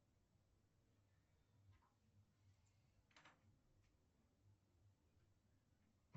давай соберем голос